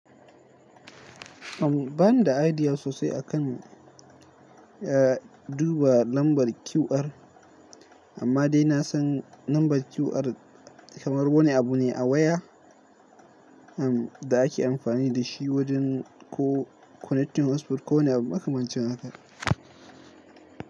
Uhm, bani da idea sosai akan, eh, duba lambar QR, amma dai na san lambar QR kamar wani abu ne a waya, uhm, da ake amfani da shi wajen ko connecting hotspot ko wani abu makamancin haka.